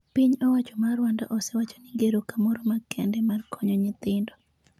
piny owacho mar Rwanda osewacho ni gero kamoro makende mar konyo nyithindo .